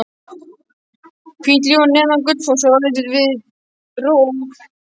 Hvítárgljúfur neðan Gullfoss er orðið til við rof